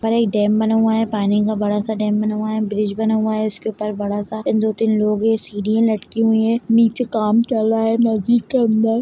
यह डैम बना हुआ है पानी का बड़ा सा डैम बना हुआ है ब्रिज बना हुआ है उसके ऊपर बड़ा सा अ--दो तीन लोग है सीढ़ी लटकी हुई है नीचे काम चल रहा है मस्जिद के अंदर ।